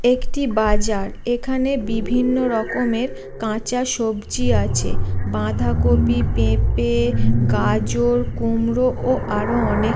একটি বাজার এখানে বিভিন্ন রকমের কাঁচা সবজি আছে। বাঁধাকপি পেঁপে গাজর কুমড়া ও আরো অনেক --